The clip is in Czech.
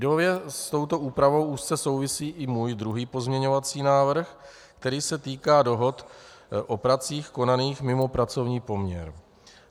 Ideově s touto úpravou úzce souvisí i můj druhý pozměňovací návrh, který se týká dohod o pracích konaných mimo pracovní poměr.